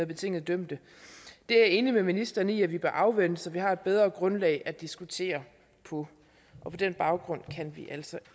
betinget dømte det er jeg enig med ministeren i at vi bør afvente så vi har et bedre grundlag at diskutere på og på den baggrund kan vi altså